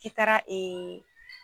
I taara ee